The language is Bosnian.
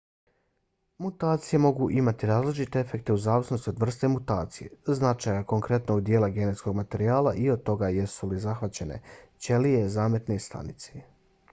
mutacije mogu imati različite efekte u zavisnosti od vrste mutacije značaja konkretnog dijela genetskog materijala i od toga jesu li zahvaćene ćelije zametne stanice